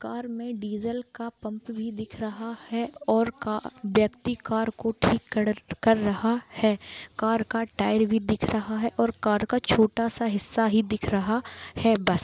Car में diesel का pump भी दिख रहा है और का व्यक्ति कार को ठीक कर रहा है कार का टायर भी दिख रहा है और कार का छोटा सा हिस्सा ही दिख रहा है बस ।